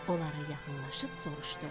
Onlara yaxınlaşıb soruşdu: